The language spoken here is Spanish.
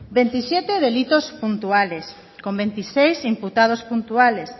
veintisiete delitos puntuales con veintiséis imputados puntuales